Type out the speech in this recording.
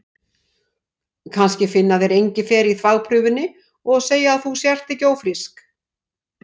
Kannski finna þeir engifer í þvagprufunni og segja að þú sért ekki ófrísk.